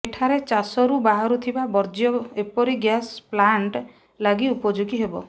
ଏଠାରେ ଚାଷରୁ ବାହାରୁଥିବା ବର୍ଜ୍ୟ ଏପରି ଗ୍ୟାସ୍ ପ୍ଲାଣ୍ଟ ଲାଗି ଉପଯୋଗୀ ହେବ